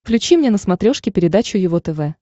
включи мне на смотрешке передачу его тв